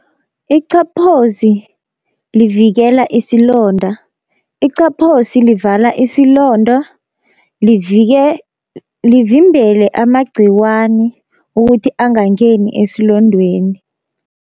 Iqaphozi livikela isilonda, iqaphosi livala isilonda livimbele amagciwani ukuthi angangeni esilondweni.